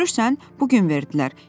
Görürsən, bu gün verdilər.